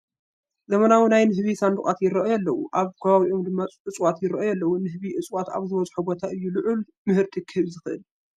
ዘመናዊ ናይ ንህቢ ሳንዱቓት ይርአዩ ኣለው፡፡ ኣብ ከባቢኦም ድማ እፅዋት ይርአዩ ኣለዉ፡፡ ንህቢ እፅዋት ኣብ ዝበዝሕዎ ቦታ እዩ ልዑል ምህርቲ ክህብ ዝኽእል፡፡